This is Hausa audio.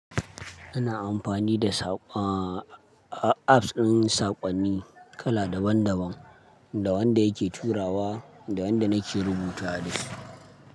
Ana amfani da apps ɗin saƙonni kala daban daban, da wanda yake turawa da wanda nake rubuta da shi.